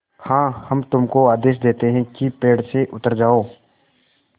हाँ हम तुमको आदेश देते हैं कि पेड़ से उतर जाओ